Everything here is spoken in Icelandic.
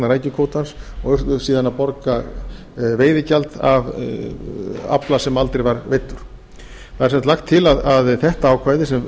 rækjukvótans og urðu síðan að borga veiðigjald af afla sem aldrei var veiddur það er sem sagt lagt til að þetta ákvæði sem